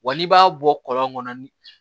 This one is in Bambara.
Wa n'i b'a bɔ kɔlɔn kɔnɔ